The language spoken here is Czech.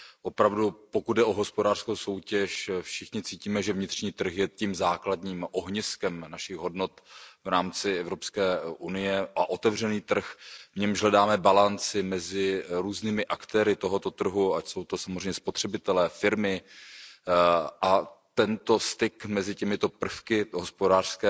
Opravdu, pokud jde o hospodářskou soutěž, všichni cítíme, že vnitřní trh je tím základním ohniskem našich hodnot v rámci EU, a otevřený trh, v němž hledáme balanc, je mezi různými aktéry tohoto trhu, ať jsou to samozřejmě spotřebitelé nebo firmy. Tento styk mezi těmito prvky hospodářské